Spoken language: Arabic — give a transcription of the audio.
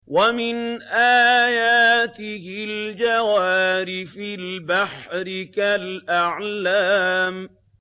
وَمِنْ آيَاتِهِ الْجَوَارِ فِي الْبَحْرِ كَالْأَعْلَامِ